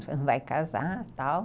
Você não vai casar e tal.